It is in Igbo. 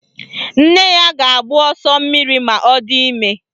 Nne ya ga-agbụ ọsọ mmiri ma ọ di ime